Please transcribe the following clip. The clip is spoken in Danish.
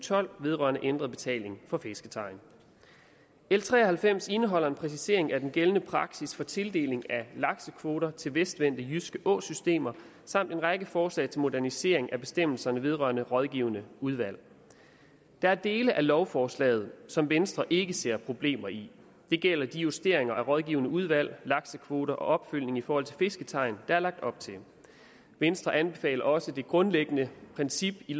tolv vedrørende ændret betaling for fisketegn l tre og halvfems indeholder en præcisering af den gældende praksis for tildeling af laksekvoter til vestvendte jyske åsystemer samt en række forslag til modernisering af bestemmelserne vedrørende rådgivende udvalg der er dele af lovforslaget som venstre ikke ser problemer i det gælder de justeringer af rådgivende udvalg laksekvoter og opfølgning i forhold til fisketegn der er lagt op til venstre anbefaler også det grundlæggende princip i